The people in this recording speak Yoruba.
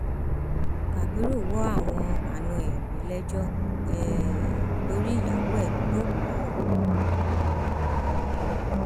kábirú wo àwọn àna ẹ reléẹjọ um torí ìyàwó ẹ tó kọ ọ um